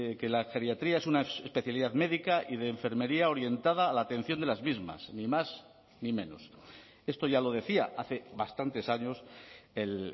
que la geriatría es una especialidad médica y de enfermería orientada a la atención de las mismas ni más ni menos esto ya lo decía hace bastantes años el